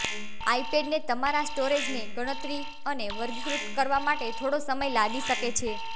આઈપેડને તમારા સ્ટોરેજને ગણતરી અને વર્ગીકૃત કરવા માટે થોડો સમય લાગી શકે છે